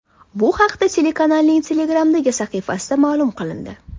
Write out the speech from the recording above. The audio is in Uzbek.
Bu haqda telekanalning Telegram’dagi sahifasida ma’lum qilindi .